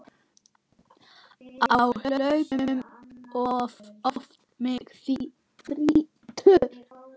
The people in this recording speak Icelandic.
Á hlaupum oft mig þrýtur.